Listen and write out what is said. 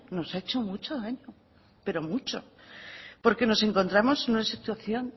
nos ha hecho mucho daño pero mucho porque nos encontramos en una situación